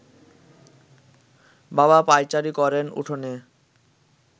বাবা পায়চারি করেন উঠোনে